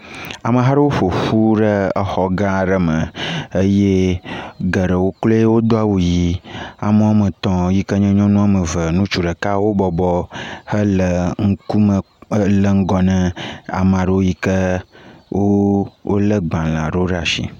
Ameha aɖe ƒo ƒu ɖe exɔgã aɖe me eye geɖewo kloe wodo awu yii. Ame woame tɔ̃ yi ke nye nyɔnu woame ve, ŋutsu ɖeka wobɔbɔ hele ŋkume, le ŋgɔ na ame aɖewo yi ke wooo, wolé agbalẽ aɖewo ɖe ashi.